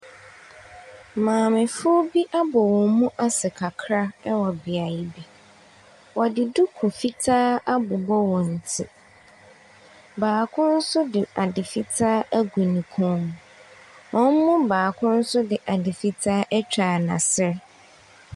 Maame fo bi ebu wɔnmu ase kakraa ɛwɔ biayɛ bi. Wɔde duku fitaa abobɔ wɔn ti. Baako nso de ade fitaa agu ne kɔnmu. Ɔmo mu baako nso de ade fitaa atwa n'ase.